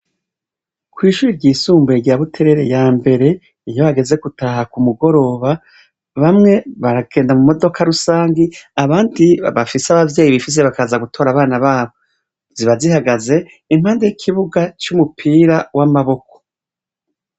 Kw'ishuri ry'isumbuye rya buterere ya mbere iyo hageze gutaha ku mugoroba bamwe baragenda mu modoka rusangi abandi babafise abavyeyi bifize bakaza gutora abana babo zibazihagaze impande y'ikibuga c'umupira w'amaboko.